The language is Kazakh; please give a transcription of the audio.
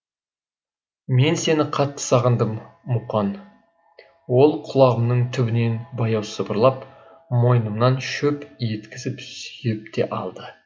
мен сені қатты сағындым муқан ол құлағымның түбінен баяу сыбырлап мойнымнан шөп еткізіп сүйіп те алды